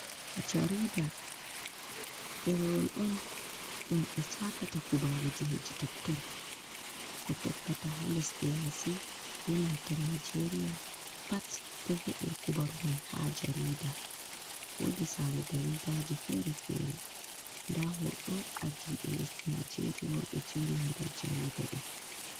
Jariɗa derewol on ɗum be cakata kubaruji heɗi totton. ko ɗoggata ha lesɗe yasi be nanta nijeria, pat ɗo heɓe kubaru mai ha jarida. Woɗi sare jaridaji fere-fere. Nda hoto Arɗibe lesɗi naijeria on beɗo jeeri ha jariɗa do.